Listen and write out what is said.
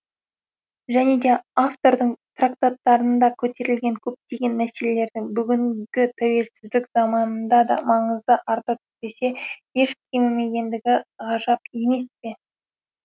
және де автордың трактаттарында көтерілген көптеген мәселелердің бүгінгі тәуелсіздік заманында да маңызы арта түспесе еш кемімегендігі ғажап емес пе